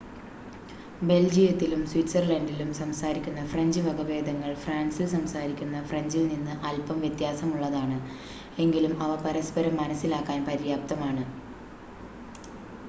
ബെൽജിയത്തിലും സ്വിറ്റ്സർലൻഡിലും സംസാരിക്കുന്ന ഫ്രഞ്ച് വകഭേദങ്ങൾ ഫ്രാൻസിൽ സംസാരിക്കുന്ന ഫ്രഞ്ചിൽ നിന്ന് അൽപ്പം വ്യത്യാസമുള്ളതാണ് എങ്കിലും അവ പരസ്പരം മനസ്സിലാക്കാൻ പര്യാപ്തമാണ്